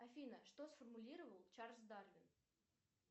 афина что сформулировал чарльз дарвин